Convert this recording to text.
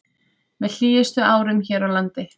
Með hlýjustu árum hér á landi